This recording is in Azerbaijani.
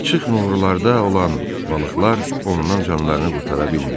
Açıq nurularda olan balıqlar ondan canlarını qurtara bilmirdi.